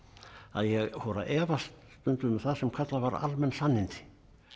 að ég fór að efast stundum um það sem kallað var almenn sannindi